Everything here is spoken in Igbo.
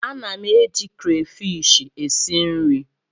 A na m eji krefishi esi nri.